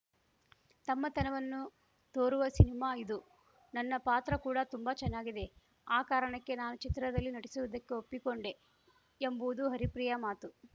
ತಮ್ಮತನವನ್ನು ತೋರುವ ಸಿನಿಮಾ ಇದು ನನ್ನ ಪಾತ್ರ ಕೂಡ ತುಂಬಾ ಚೆನ್ನಾಗಿದೆ ಆ ಕಾರಣಕ್ಕೆ ನಾನು ಚಿತ್ರದಲ್ಲಿ ನಟಿಸುವುದಕ್ಕೆ ಒಪ್ಪಿಕೊಂಡೇ ಎಂಬುವುದು ಹರಿಪ್ರಿಯಾ ಮಾತು